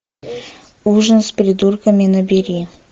ужин с придурками набери